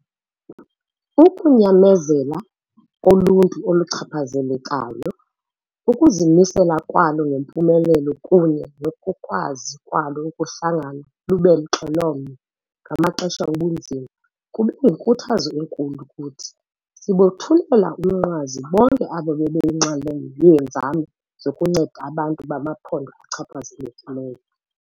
Ukunyamezela koluntu oluchaphazelekayo, ukuzimisela kwalo ngempumelelo kunye nokukwazi kwalo ukuhlangana lube mxhelomnye ngamaxesha obunzima kube yinkuthazo enkulu kuthi. Sibothulela umnqwazi bonke abo bebeyinxalenye yeenzame zokunceda abantu bamaphondo achaphazelekileyo.